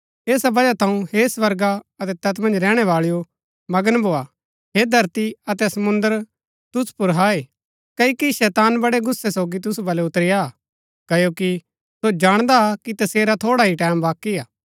ऐसा वजह थऊँ हे स्वर्गा अतै तैत मन्ज रैहणै बाळैओ मगन भोआ हे धरती अतै समुंद्र तुसु पुर हाय क्ओकि शैतान बड़ै गुस्सै सोगी तूसु बलै उतरी आ क्ओकि सो जाणदा कि तसेरा थोड़ा ही टैमं बाकी हा